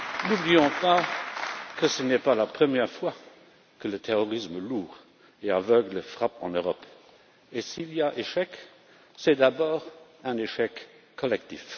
N'oublions pas que ce n'est pas la première fois que le terrorisme lourd et aveugle frappe en Europe et, s'il y a échec, c'est d'abord un échec collectif.